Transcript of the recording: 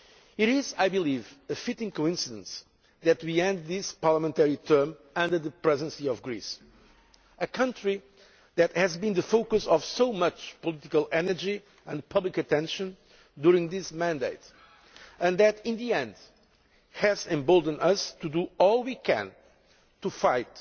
It is, I believe, a fitting coincidence that we end this parliamentary term under the Presidency of Greece a country that has been the focus of so much political energy and public attention during this mandate and that, in the end, has emboldened us to do all we can to fight